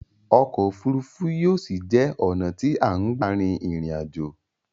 Ọkò òfurufú yóò ṣi jé ọ̀nà tí a ń gbà rin ìrìn aj̀ò.